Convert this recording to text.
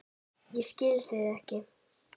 Ég skil það ekki!